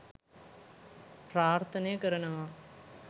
ප්‍රාර්ථනය කරනවා